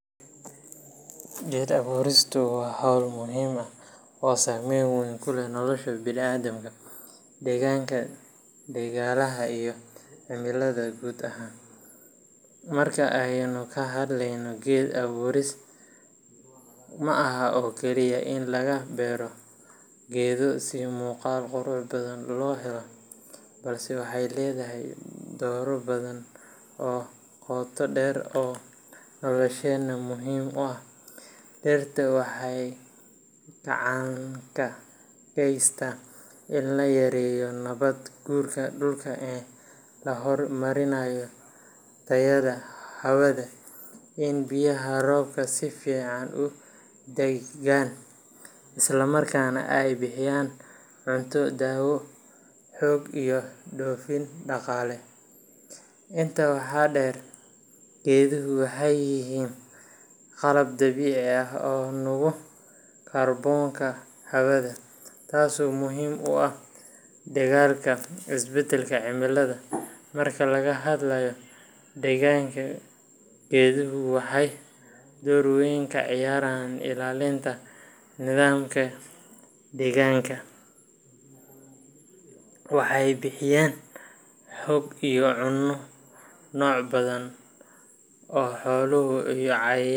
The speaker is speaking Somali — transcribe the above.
Geed abuuristu waa hawl muhiim ah oo saameyn weyn ku leh nolosha bini’aadamka, deegaanka, dhaqaalaha iyo cimilada guud ahaan. Marka aynu ka hadleyno geed abuuris, ma aha oo kaliya in la beero geedo si muuqaal qurux badan loo helo, balse waxay leedahay doorro badan oo qotodheer oo nolosheenna muhiim u ah. Dhirta waxay gacan ka geystaan in la yareeyo nabaad guurka dhulka, in la horumariyo tayada hawada, in biyaha roobka si fiican u daadagaan, isla markaana ay bixiyaan cunto, daawo, hoy iyo dhoofin dhaqaale. Intaa waxaa dheer, geeduhu waxay yihiin qalab dabiici ah oo nuuga kaarboonka hawada, taasoo muhiim u ah la dagaallanka isbeddelka cimilada. Marka laga hadlayo deegaanka, geeduhu waxay door wayn ka ciyaaraan ilaalinta nidaamka deegaanka ecosystem. Waxay bixiyaan hoy iyo cunno noocyo badan oo xoolo iyo cayayaan.